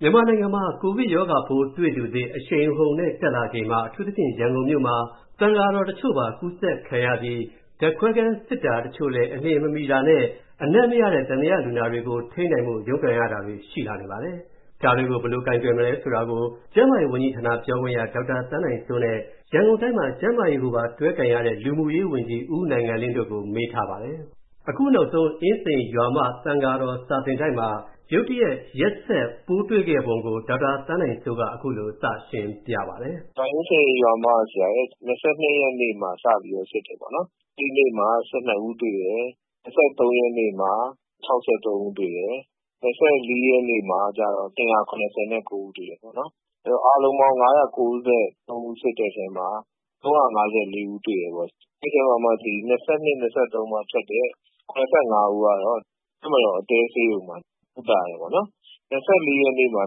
န်မာနိုင်ငံမှာ ကိုဗစ်ရောဂါပိုးတွေ့သူသစ် အရှိန်အဟုန်နဲ့တက်လာချိန်မှာ၊ အထူးသဖြင့် ရန်ကုန်မှာ သံဃာတော်တချို့ပါ ကူးစက်ခံရပြီး၊ ဓာတ်ခွဲခန်းစစ်တာတချို့လဲ အလျှင်မမီတာနဲ့၊ အနံ့မရတဲ့ သံသယလူနာတွေကို ထိန်းနိုင်ဖို့ ရုန်းကန်ရတာတွေရှိလာနေပါတယ်။ ဒါတွေကို ဘယ်လို ကိုင်တွယ်မလဲဆိုတာကို၊ ကျန်းမာရေးဝန်ကြီးဌာန ပြောခွင့်ရ ဒေါက်တာသန်းနိုင်စိုးနဲ့၊ ရန်ကုန်တိုင်းမှာ ကျန်းမာရေးကိုပါတွဲကိုင်ရတဲ့ လူမူရေးဝန်ကြီး ဦးနိုင်ငံလင်းတို့ကို၊ ကိုဝင်းမင်းက မေးထားပါတယ်။ အခုနောက်ဆုံး အင်းစိန်၊ ရွာမ သံဃာတော် စာသင်တိုက်မှာ ရုတ်တရက် ရက်ဆက် ပိုးတွေ့ခဲ့ပုံကို ဒေါက်တာ သန်းနိုင်စိုး က အခုလို စရှင်းပြပါတယ်။ “အင်းစိန်၊ ရွာမမှာ ၂၂ ရက်နေ့မှာ စဖြစ်တယ်ပေါ့နော်။ အဲဒီနေ့မှာ ၁၂ ဦးတွေ့တယ်။ ၂၃ ရက်နေ့မှာ ၆၃ ဦးတွေ့တယ်။ ၂၄ ရက်နေ့မှာ ၂၇၉ ဦးတွေ့တယ်ေပေါ့နာ်။ အဲဒီတော့ အားလုံးပေါင်း ၅၉၃ ဦးစစ်တဲ့အထဲမှာ ၃၅၄ ဦးတွေ့တယ်ပေါ့နော်။ အဲဒီထဲမှာ ၂၂၊ ၂၃ မှာထွက်တဲ့ ၇၅ ဦးကတော့ တပ်မတော်အတွင်းဆေးရုံမှာ ကုသတယ်ပေါ့နော်။ ၂၄ ရက်နေ့မှာ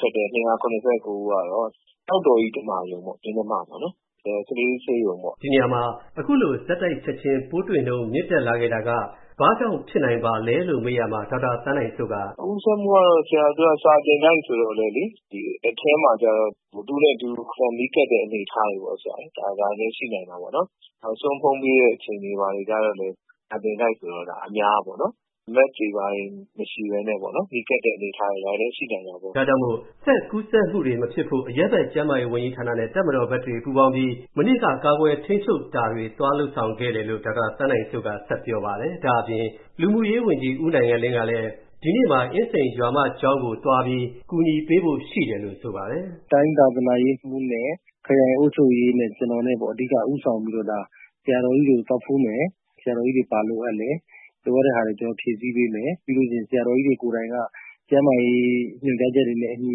ထွက်တဲ့ ၂၇၉ ကတော့ ကျောက်တော်ကြီး ဓမ္မာရုံပေါ့နော် မင်းဓမ္မပေါ့နော် ကလေးဆေးရုံပေါ့နော်။” ဒီနေရာမှာ အခုလို ဆက်တိုက်ချက်ချင်း ပိုးတွေ့နှုန်းမြင့်တက် လာခဲ့တာက ဘာကြောင့်ဖြစ်နိုင်ပါသလဲလို့ မေးရာမှာ ဒေါက်တာ သန်းနိုင်စိုးက “ကူးစက်မှုကတော့ ဆရာ သူတို့က စာသင်တိုက်ဆိုတော့လေ ။ ဒီအထဲမှာကတော့ တဦးနဲ့ တဦးနီးကပ်တဲ့ အနေအထားတွေပေါ့နော်၊ ဒါလည်းရှိနိုင်တာေပေါ့နာ်။ နောက်ဆုံး ဘုန်းပေးတဲ့အချိန်ကျတော့လည်း စာသင်တိုက် ဆိုတော့ အများပေါ့နော်။ Mask တွေဘာတွေ မရှိပဲနဲ့ နီးကပ်တဲ့ အနေအထားတွေလည်း ရှိနိုင်တာပေါ့နော်။” ဒါကြောင့် ဆက်ကူးစက်မှုတွေ မဖြစ်ဖို့ အရပ်ဘက် ကျန်းမာရေးဝန်ကြီးဌာနနဲ့ တပ်မတော်ဘက်ကတွေ ပူးပေါင်းပြီး မနေ့က ကာကွယ်ထိန်းချုပ်တာတွေ သွားလုပ်ဆောင်ခဲ့တယ်လို့ ဒေါက်တာ သန်းနိုင်စိုးက ဆက်ပြောပါတယ်။ ဒါ့အပြင် လူမူရေးဝန်ကြီး ဦးနိုင်ငံလင်းကလည်း ဒီနေ့မှာ အင်းစိန်ရွာမကျောင်းကို သွားပြီး ကူညီပေးဖို့ ရှိတယ်လို့ ဆိုပါတယ်။ “တိုင်းသာသနာရေးမှူးနဲ့ ခရိုင်အုပ်ချုပ်ရေးနဲ့ ကျနော်နဲ့ပေါ့ အဓိက ဦးဆောင်ပြီးတော့ ဆရာတော်ကြီးတွေကို သွားဖူးမယ်။ ဆရာတော်ကြီးတွေ ဘာလိုအပ်လဲ၊ လိုအပ်တဲ့ဟာတွေ ကျနော်တို့ ဖြည့်ဆည်းပေးမယ်။ ပြီးရင် ဆရာတော်ကြီးတွေကိုယ်တိုင်က ကျန်းမာရေး ညွှန်ကြားချက်တွေနဲ့ အညီ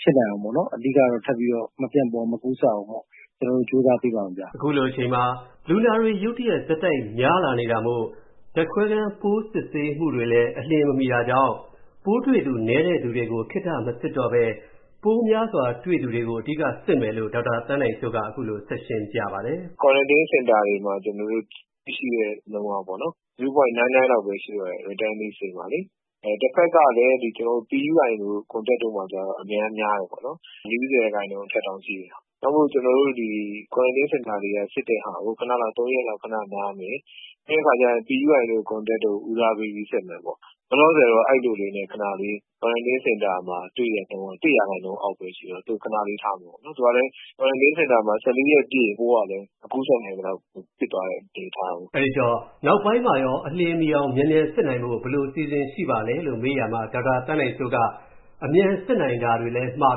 ဖြစ်နိုင်အောင်ပေါ့နော် အဓိကတော့ ထပ်ပြီးတော့ မပြန့်ပွား၊ မကူးစက်အောင်ပေ့ါ ကျနော်တို့တွေ ကြိုးစားပေးပါမယ်ခင်ဗျ။” အခုလိုအချိန်မှာ လူနာတွေ ရုတ်တရက် ဆက်တိုက် များလာနေတာမို့ ဓါတ်ခွဲခန်း ပိုးစစ်ဆေးမှုတွေလည်း အလျှင်မမီတာကြောင့် ပိုးတွေ့သူ နည်းသူတွေကို ခေတ္တမစစ်တော့ပဲ ပိုးများစွာ တွေ့သူတွေကို အဓိက စစ်မယ်လို့ ဒေါက်တာ သန်းနိုင်စိုးက အခုလို ဆက်ရှင်းပြပါတယ်။ “ကွာရန်တင်းစင်တာတွေမှာ ကျနော်တို့ တွေ့ရှိနှုန်းက ဝ.၉၉ လောက်ပဲ ရှိတော့တယ်။ Returnees ဆီမှာလေ။ တဘက်ကလည်း ကျနော်တို့ PUI ၊ Contact တွေမှာကျတော့ အရမ်းများတယ်ေပေါ့နာ်။ ၄၀ ရာခိုင်နှုန်းအထက်တောင်ရှိတယ်။ ဒါကြောင့် ကျနော်တို့ ကွာရန်တင်းစင်တာတွေက စစ်တာကို ခဏလောက် ၃ ရက်လောက် ခဏနားမယ်၊ ပြီးတဲ့အခါကျရင် PUI၊ Contact တွေကို ဦးစားပေးပြီး စစ်မယ်ပေါ့။ လောလောဆယ်တာ့ အဲလိုလေးနဲ့ ခဏလေး ကွာရန်တင်းစင်တာမှာ တွေ့တဲ့နှုန်းက ၁ ရာခိုင်နှုန်းအောက်ပဲရှိတော့ သူ့ကို ခဏလေး ထားထားမယ်ပေါ့နော်။ ကွာရန်တင်းစင်မှာ ၁၄ ရက်ပြည့်ရင် ပိုးက မကူးစက်နိုင်သလောက် ဖြစ်သွားတဲ့အနေအထားကို။” အဲဒီတော့ နောက်ပိုင်းမှာရော အလျှင်မှီအောင် မြန်မြန်စစ်နိုင်ဖို့ ဘယ်လိုအစီအစဉ်ရှိပါသလဲလို့ မေးရာမှာ ဒေါက်တာ သန်းနိုင်စိုးက အမြန်စစ်နိုင်တာတွေလည်း မှာ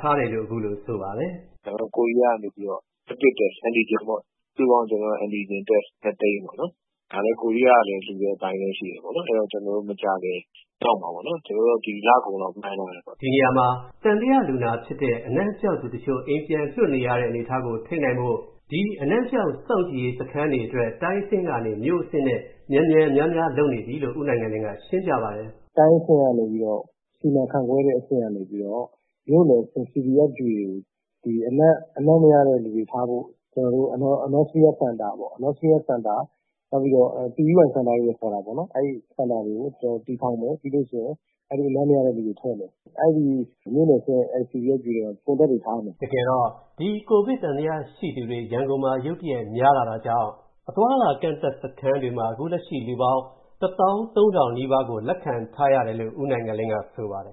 ထားတယ်လို့ အခုလို ဆိုပါတယ်။ “ကျနော်တို့ ကိုရီးယားကနေပြီးတော့ Rapid Test ၊ Antigen ပေါ့ ၊ Antigen Test စုစုပေါင်း ၂ သိန်းပေါ့။ ဒါကလည်း ကိုရီးယားက လာလှူတဲ့ဟာတွေလည်းရှိတယ်။ အဲဒီတော့ ကျနော်တို့ မကြာခင်ရောက်မှာပေါ့နော်။ ကျနော်တို့ ဒီလကုန်လောက် မှန်းထားတယ်ပေါ့နော်။” ဒီနေရာမှာ သံသယလူနာဖြစ်တဲ့ အနံ့ပျောက်သူတချို့ အိမ်ပြန်လွှတ်နေရတဲ့ အနေအထားကို ထိန်းနိုင်ဖို့ ဒီအနံ့ပျောက် စောင့်ကြည့်ရေးစခန်း တွေအတွက် တိုင်းအဆင့်ကနေ မြို့အဆင့်အဖြစ်နဲ့ မြန်မြန် များများ လုပ်နေပြီလို့ ဦးနိုင်ငံလင်းက ရှင်းပြပါတယ်။ “တိုင်းအဆင့်ကနေပြီးတော့ စီမံခန့်ခွဲတဲ့အဆင့်ကနေပြီးတော့ မြို့နယ်အဆင့် CBFQ (Community-based Facility Quarantine) စခန်းတွေကို၊ အနံ့ မရတဲ့လူတွေထားဖို့ Anosmia စင်တာပေါ့၊ ကျနော်တို့ PUI စင်တာလို့လည်း ခေါ်တာပေါ့နော်။ အဲဒီစင်တာတွေကို တည်ထောင်မယ်။ ပြီးရင် အနံ့ မရတဲ့လူတွေထည့်မယ်။ အဲဒီ မြိုနယ်အဆင့် CBFQ တွေမှာ Contact တွေထားမယ်။” တကယ်တော့ ဒီ COVID သံသယ ရှိသူတွေ ရန်ကုန်မှာ ရုတ်တရက်များလာတာကြောင့် အသွားအလာ ကန့်သတ်စခန်းတွေမှာ အခုလက်ရှိ လူပေါင်း ၁၃,၀၀၀ နီးပါးကို လက်ခံထားရတယ်လို့ ဦးနိုင်ငံလင်းက ဆိုပါတယ်